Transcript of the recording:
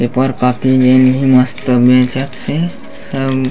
paper काटली मस्त मेजा से सब --